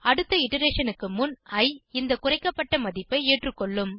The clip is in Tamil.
அடுத்த இட்டரேஷன் க்கு முன் இ இந்த குறைக்கப்பட்ட மதிப்பை ஏற்றுகொள்ளும்